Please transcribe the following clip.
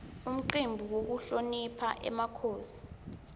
umcimbi wekuhlonipha emakhosi